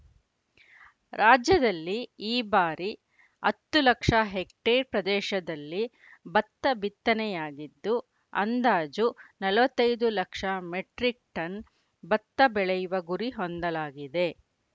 ರಾಜ್ಯದಲ್ಲಿ ಈ ಬಾರಿ ಹತ್ತು ಲಕ್ಷ ಹೆಕ್ಟೇರ್‌ ಪ್ರದೇಶದಲ್ಲಿ ಭತ್ತ ಬಿತ್ತನೆಯಾಗಿದ್ದು ಅಂದಾಜು ನಲ್ವತೈದು ಲಕ್ಷ ಮೆಟ್ರಿಕ್‌ ಟನ್‌ ಭತ್ತ ಬೆಳೆಯುವ ಗುರಿ ಹೊಂದಲಾಗಿದೆ